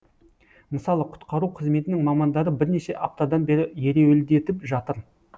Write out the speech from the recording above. мысалы құтқару қызметінің мамандары бірнеше аптадан бері ереуілдетіп жатыр